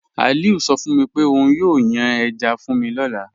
Aliu sọ fun mi pe ọun yóò yàn èjá fun mi lọ́lá.